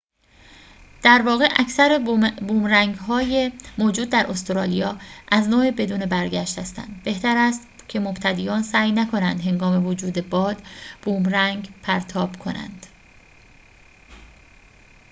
در واقع اکثر بومرنگ‌های موجود در استرالیا از نوع بدون برگشت هستند بهتر است که مبتدیان سعی نکنند هنگام وجود باد بومرنگ پرتاب کنند